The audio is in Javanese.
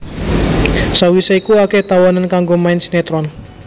Sawisé iku akéh tawanan kanggo main sinetron